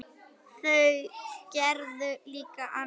En þau gerðu líka annað.